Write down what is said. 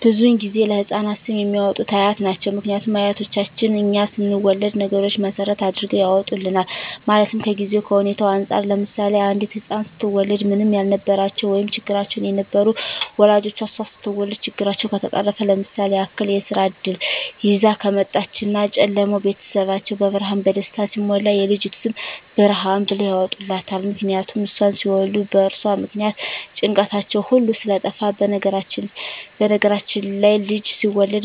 ብዙዉን ጊዜ ለህፃናት ስም የሚያወጡት አያት ናቸዉ ምክንያቱም አያቶቻችን እኛ ስንወለድ ነገሮች መሰረት አድርገዉ ያወጡልናል ማለትም ከጊዜዉ ከሁኔታዉ እንፃር ለምሳሌ አንዲት ህፃን ስትወለድ ምንም ያልነበራቸዉ ወይም ቸግሯቸዉ የነበሩ ወላጆቿ እሷ ስትወለድ ችግራቸዉ ከተፈቀረፈ ለምሳሌ ያክል የስራ እድል ይዛ ከመጣች እና ጨለማዉ ቤታቸዉ በብርሃን በደስታ ሲሞላ የልጅቱ ስም ብርሃን ብለዉ ያወጡላታል ምክንያቱም እሷን ሲወልዱ በእርሷ ምክንያት ጭንቀታቸዉ ሁሉ ስለጠፍ በነገራችን ላይ ልጅ ሲወለድ